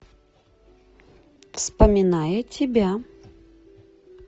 вспоминая тебя